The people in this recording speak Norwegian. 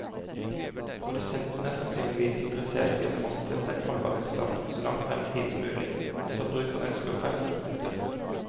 Produsenten er sannsynligvis interessert i å fastsette en holdbarhetsdato så langt frem i tid som mulig, mens forbruker ønsker ferske produkter.